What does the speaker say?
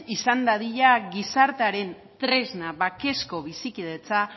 izan dadila gizartearen tresna bakezko bizikidetza